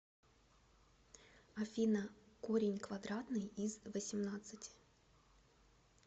афина корень квадратный из восемнадцати